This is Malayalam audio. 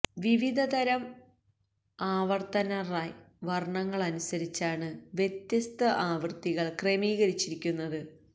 വിവിധ തരം ആവർത്തന റൈ വർണങ്ങളനുസരിച്ചാണ് വ്യത്യസ്ത ആവൃത്തികൾ ക്രമീകരിച്ചിരിക്കുന്നത്